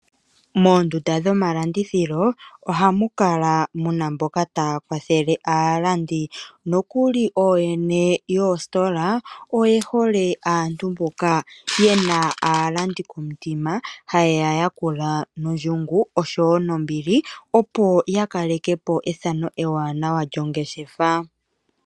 Moondunda dhomalandithilo ohamu kala mu na mboka taya kwathele aalandi nokuli ooyene yoositola oye hole aantu mboka ye na aalandi komutima taye ya yakula nondjungu oshowo nombili, opo ya kaleke po ethano ewanawa lyongeshefa.